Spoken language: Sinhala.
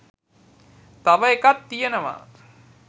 තව එකක් තියෙනවා